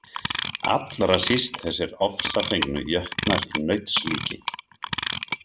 Allra síst þessir ofsafengnu jötnar í nauts líki.